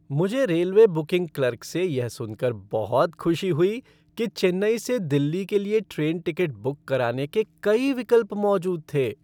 मुझे railway booking clerk से यह सुनकर बहुत खुशी हुई कि चेन्नई से दिल्ली के लिए ट्रेन टिकट बुक कराने के कई विकल्प मौजूद थे।